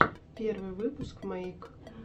первый выпуск мэйк